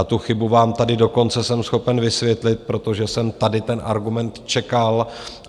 A tu chybu vám tady dokonce jsem schopen vysvětlit, protože jsem tady ten argument čekal.